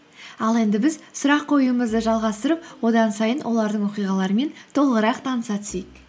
ал енді біз сұрақ қоюымызды жалғастырып одан сайын олардың оқиғаларымен толығырақ таныса түсейік